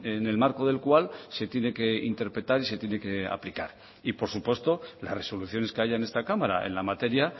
en el marco del cual se tiene que interpretar y se tiene que aplicar y por supuesto las resoluciones que haya en esta cámara en la materia